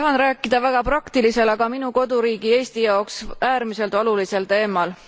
Tahan rääkida väga praktilisel, aga minu koduriigi Eesti jaoks äärmiselt olulisel teemal.